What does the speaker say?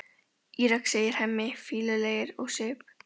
Írak, segir Hemmi, fýlulegur á svip.